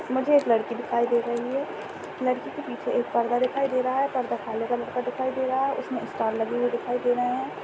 मुझे एक लड़की दिखाई दे रही है लड़की के पीछे एक पर्दा दिखाई दे रहा है पर्दा काले कलर का दिखाई दे रहा है उसमें स्टार लगी हुई दिखाई दे रहे हैं।